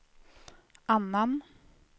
annan